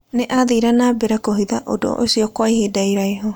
Nĩ aathire na mbere kũhitha ũndũ ũcio kwa ihinda iraihu.